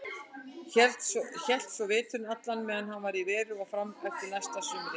Hélst svo veturinn allan meðan hann var í veri og fram eftir næsta sumri.